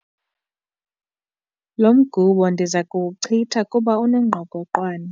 Lo mgubo ndiza kuwuchitha kuba unengqokoqwane.